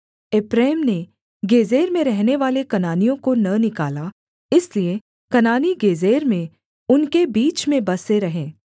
एप्रैम ने गेजेर में रहनेवाले कनानियों को न निकाला इसलिए कनानी गेजेर में उनके बीच में बसे रहे